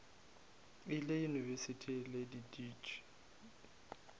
ile yunibesithing e le dudišitše